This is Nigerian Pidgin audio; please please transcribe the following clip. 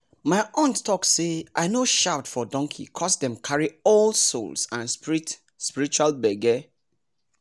my aunt talk say make i no shout for donkey coz dem carry old souls and spiritual gbege